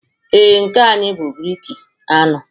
Ee, nke a anyị bụ breeki aṅụ